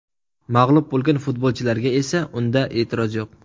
Mag‘lub bo‘lgan futbolchilarga esa unda e’tiroz yo‘q.